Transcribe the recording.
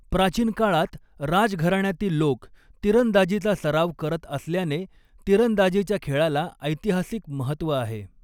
प्राचीन काळात राज घराण्यातील लोक तिरंदाजीचा सराव करत असल्याने, तिरंदाजीच्या खेळाला ऐतिहासिक महत्त्व आहे.